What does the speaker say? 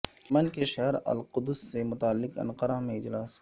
امن کے شہر القدس سے متعلق انقرہ میں اجلاس